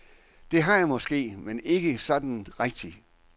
Det har jeg måske, men ikke sådan rigtigt.